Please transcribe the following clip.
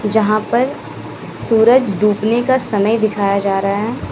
जहां पर सूरज डूबने का समय दिखाया जा रहा है।